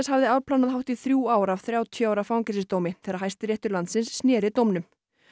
hafði afplánað hátt í þrjú ár af þrjátíu ára fangelsisdómi þegar Hæstiréttur landsins sneri dómnum